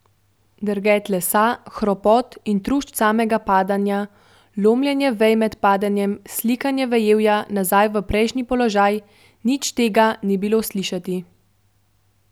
Drget lesa, hropot in trušč samega padanja, lomljenje vej med padanjem, sikanje vejevja nazaj v prejšnji položaj, nič tega ni bilo slišati.